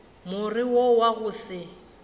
more wo wa go se